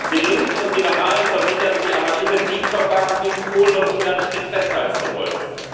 Den Linken und Liberalen versichern Sie, am Artikel 7 Verfahren gegen Polen und Ungarn strikt festhalten zu wollen.